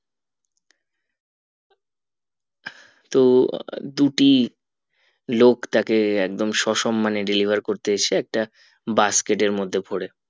তো দুটি লোক তাকে একদম সসম্মানে deliver করতে এসে একটা basket এর মধ্যে ভোরে